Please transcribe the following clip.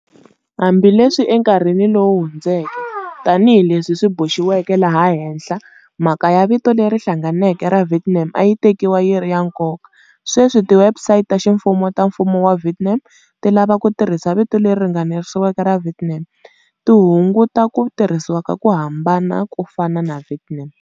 Hambi leswi enkarhini lowu hundzeke, tani hi leswi swi boxiweke laha henhla, mhaka ya vito leri hlanganeke ra Vietnam a yi tekiwa yi ri ya nkoka, sweswi, tiwebsite ta ximfumo ta Mfumo wa Vietnam ti lava ku tirhisa vito leri ringaniseriweke ra"Vietnam", ti hunguta ku tirhisiwa ka ku hambana ko fana na"Vietnam".